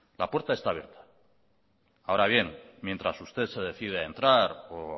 la puerta está abierta ahora bien mientras usted se decide a entrar o